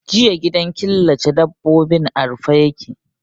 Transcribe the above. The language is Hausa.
Jiya gidan killace dabbobin a rufe ya ke.